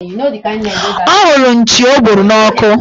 Ọ hụrụ nchi o gburu n' ọkụ